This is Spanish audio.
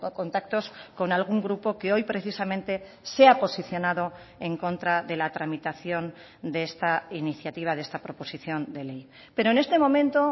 contactos con algún grupo que hoy precisamente sea posicionado en contra de la tramitación de esta iniciativa de esta proposición de ley pero en este momento